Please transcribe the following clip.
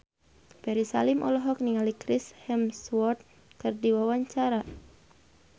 Ferry Salim olohok ningali Chris Hemsworth keur diwawancara